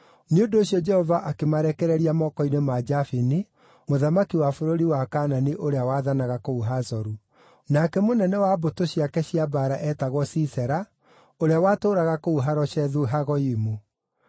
Nĩ ũndũ ũcio Jehova akĩmarekereria moko-inĩ ma Jabini, mũthamaki wa bũrũri wa Kaanani ũrĩa waathanaga kũu Hazoru. Nake mũnene wa mbũtũ ciake cia mbaara eetagwo Sisera, ũrĩa watũũraga kũu Haroshethu-Hagoyimu.